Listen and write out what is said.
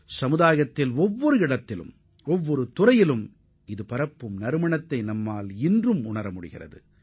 அத்துடன் ஒவ்வொரு துறையிலும் இதுபோன்ற பாரம்பரியத்தை தற்போதும் நாம் உணர்கிறோம்